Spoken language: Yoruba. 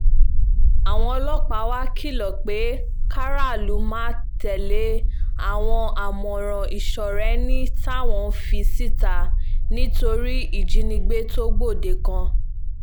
àwọn ọlọ́pàá wàá kìlọ̀ pé kárààlú máa tẹ̀lé àwọn àmọ̀ràn ìsọ̀rèẹni táwọn ń fi síta nítorí ìjínigbé tó gbòde kan